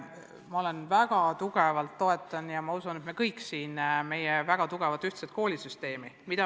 Ma väga tugevalt toetan – ja ma usun, et me kõik siin saalis toetame – ühtset koolisüsteemi.